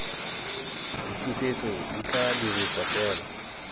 dipusetso di tla dirisiwa fela